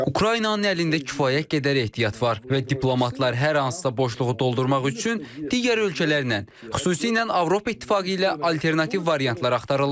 Ukraynanın əlində kifayət qədər ehtiyat var və diplomatlar hər hansısa boşluğu doldurmaq üçün digər ölkələrlə, xüsusilə Avropa İttifaqı ilə alternativ variantlar axtarırlar.